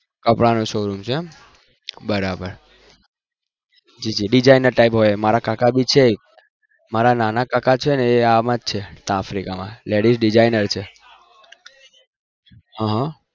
કપડાનો showroom છે બરાબર મારા નાના કાકા છે એ માં જ છે ladies designer છે હા